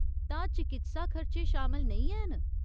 तां चकित्सा खर्चे शामल नेईं हैन ?